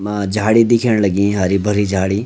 मा झाड़ी दिखेंण लगीं हरी भरी झाड़ी।